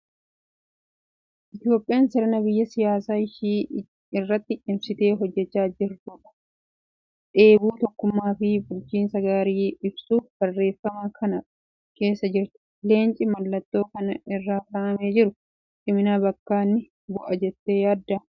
Itoophiyaan sirna biyya siyaasa ishii irratti cimsitee hojjechaa jirrudha. Dheebuu tokkummaa fi bulchiinsa gaarii ibsuuf barreeffama kana keessee jirti. Leenci mallattoo kana irra kaa'amee jiru cimina bakka ni bu'a jettee yaaddaa?